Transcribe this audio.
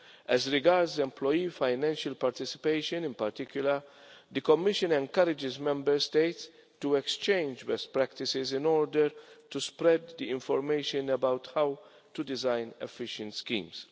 As regards employee financial participation in particular, the Commission encourages Member States to exchange best practices in order to spread the information about how to design efficient schemes.